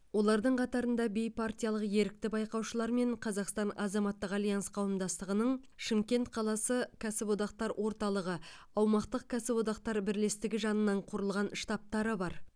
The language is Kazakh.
олардың қатарында бейпартиялық ерікті байқаушылар мен қазақстан азаматтық альянс қауымдастығының шымкент қаласы кәсіподақтар орталығы аумақтық кәсіподақтар бірлестігі жанынан құрылған штабтары бар